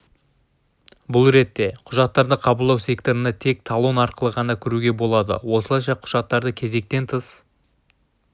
бұл ретте құжаттарды қабылдау секторына тек талон арқылы ғана кіруге болады осылайша құжаттарды кезектен тыс